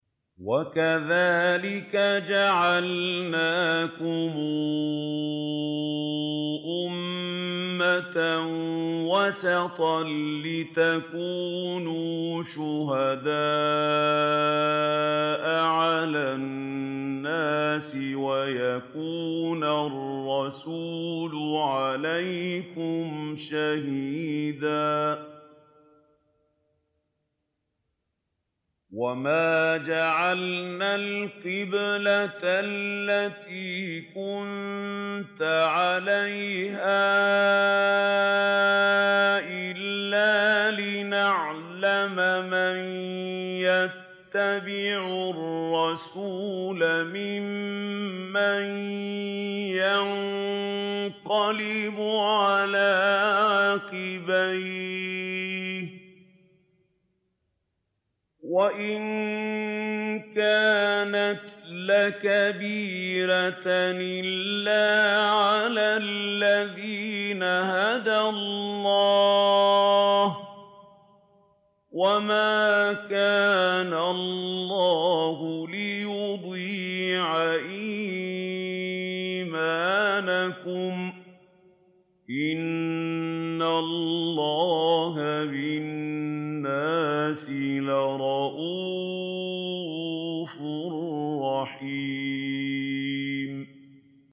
وَكَذَٰلِكَ جَعَلْنَاكُمْ أُمَّةً وَسَطًا لِّتَكُونُوا شُهَدَاءَ عَلَى النَّاسِ وَيَكُونَ الرَّسُولُ عَلَيْكُمْ شَهِيدًا ۗ وَمَا جَعَلْنَا الْقِبْلَةَ الَّتِي كُنتَ عَلَيْهَا إِلَّا لِنَعْلَمَ مَن يَتَّبِعُ الرَّسُولَ مِمَّن يَنقَلِبُ عَلَىٰ عَقِبَيْهِ ۚ وَإِن كَانَتْ لَكَبِيرَةً إِلَّا عَلَى الَّذِينَ هَدَى اللَّهُ ۗ وَمَا كَانَ اللَّهُ لِيُضِيعَ إِيمَانَكُمْ ۚ إِنَّ اللَّهَ بِالنَّاسِ لَرَءُوفٌ رَّحِيمٌ